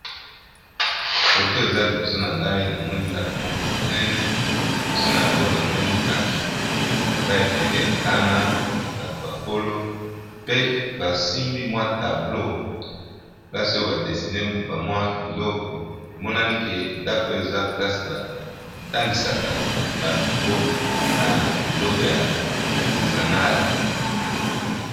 Photo oyo eza liboso nangai namoni ndako moko ya monene liboso nango namoni pe batu ebele bato mikolo na bana pe basimbi mwa tableau na maboko